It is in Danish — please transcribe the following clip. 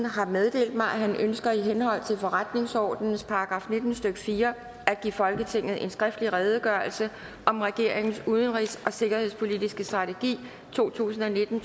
har meddelt mig at han ønsker i henhold til forretningsordenens § nitten stykke fire at give folketinget en skriftlig redegørelse af om regeringens udenrigs og sikkerhedspolitiske strategi to tusind og nitten